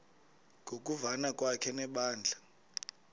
ngokuvana kwakhe nebandla